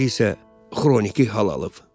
İndi isə xroniki hal alıb.